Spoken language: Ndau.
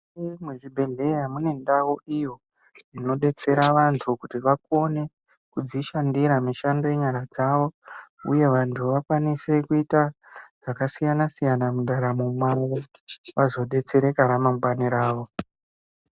Mukati mechibhehleya munendau iyo inodetsera vantu kuti vakone kurziehandira mishando yenyara dzavo uye vantu vakwanise kuita zvakasiyana siyana mundaramo mavo vazobetsereka ramangwani ravo